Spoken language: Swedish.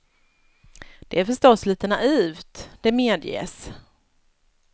Det är förstås litet naivt, det medges.